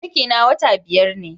Ciki na wata biyar ne